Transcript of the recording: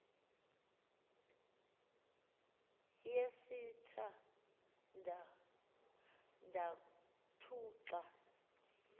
yesitha ndathu xa